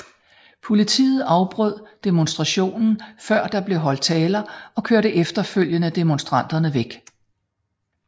Politiet afbrød demonstrationen før der blev holdt taler og kørte efterfølgende demonstranterne væk